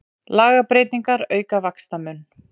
Lagabreytingar auka vaxtamun